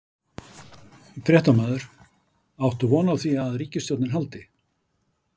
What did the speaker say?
Fréttamaður: Átt þú von á því að ríkisstjórnin haldi?